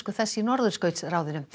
þess í Norðurskautsráðinu